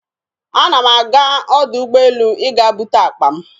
Ana m aga ọdọ ụgbọelu ịga bute akpa m.